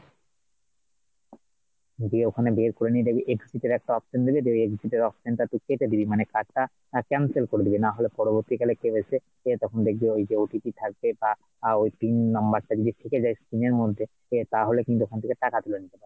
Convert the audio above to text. দিয়ে ওখানে বের করে নিয়ে দেখবি exit এর একটা option দেবে ওই exit এর option টা তুই কেটে দিবি মানে card টা তুই cancel করে দিবি নাহলে পরবর্তীকালে কেউ এসে যে তখন দেখবি ওই যো OTP থাকবে বা, ওই pin number টা যদি থেকে যায় screen এর মধ্যে, সে তাহলে কিন্তু ওখান থেকে টাকা তুলে নিতে পারবে